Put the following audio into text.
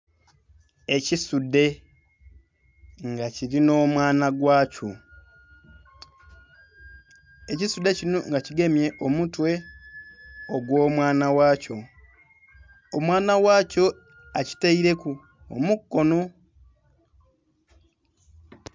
Ekisudhe nga kilinha omwana gwa kyo, ekisudhe kinho nga kigemye omutwe ogw'omwana ghakyo. Omwana ghakyo akitaileku omukono.